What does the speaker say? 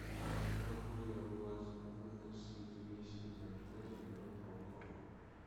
могу ли я выносить вещи из отеля на балкон